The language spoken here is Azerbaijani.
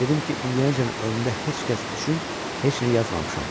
Dedim ki, indiyəcən ömrümdə heç kəs üçün heç nə yazmamışam.